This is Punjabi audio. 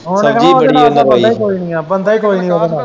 ਉਹਨਾਂ ਨੇ ਕਹਿਣਾ ਇੱਦੇ ਨਾਲ਼ ਤਾਂ ਬੰਦਾ ਕੋਈ ਨਹੀਂ ਏ ਬੰਦਾ ਹੀ ਕੋਈ ਨੀ ਉਹਦੇ ਨਾ।